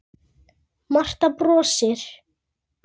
Marta brosir.